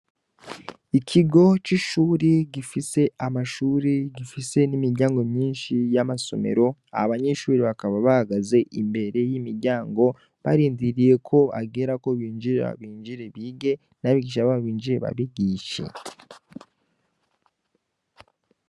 Ikigo c'ishuri gifise amashuri gifise n'imiryango myinshi y'amasomero abanyeshuri bakaba bagaze imbere y'imiryango barindiriye ko agera ko binjire babinjire bige nabo igisa babinjire babigishe.